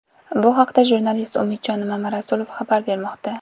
Bu haqda jurnalist Umidjon Mamarasulov xabar bermoqda.